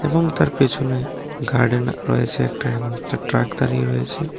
এবং তার পিছনে গার্ডেন রয়েছে একটা এমন একটা ট্রাক দাঁড়িয়ে রয়েছে।